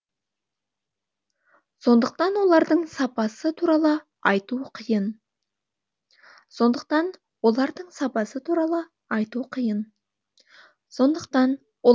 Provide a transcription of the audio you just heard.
сондықтан олардың сапасы туралы айту қиын